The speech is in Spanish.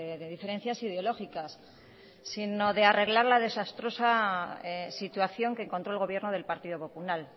de diferencias ideológicas sino de arreglar la desastrosa situación que encontró el gobierno del partido popular